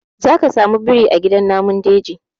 Zaka samu biri a gidan namun daji.